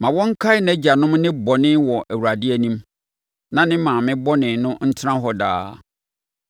Ma wɔnkae nʼagyanom nnebɔne wɔ Awurade anim; na ne maame bɔne no ntena hɔ daa.